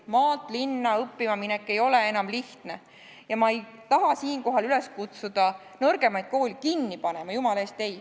Maalt linna õppima minek ei ole enam lihtne ja ma ei taha siinkohal üles kutsuda nõrgemaid koole kinni panema, jumala eest ei.